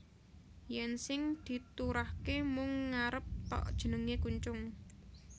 Yèn sing diturahké mung ngarep thok jenengé kuncung